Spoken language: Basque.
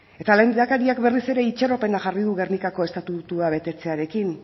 eta lehendakariak berriz ere itxaropena jarri du gernikako estatutua betetzearekin